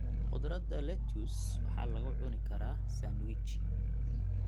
Khudradda lettuce waxaa lagu cuni karaa sandwichi.